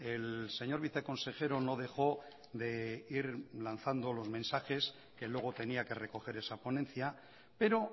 el señor viceconsejero no dejó de ir lanzando los mensajes que luego tenía que recoger esa ponencia pero